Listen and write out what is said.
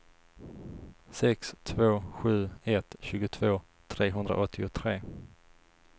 sex två sju ett tjugotvå trehundraåttiotre